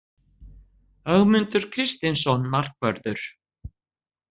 Ögmundur Kristinsson Markvörður